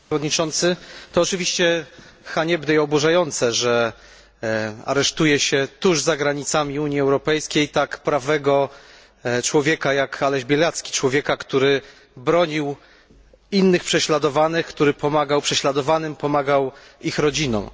Panie Przewodniczący! To oczywiście haniebne i oburzające, że aresztuje się tuż za granicami Unii Europejskiej tak prawego człowieka jak Aleś Białacki, człowieka, który bronił innych prześladowanych, który pomagał prześladowanym, pomagał ich rodzinom.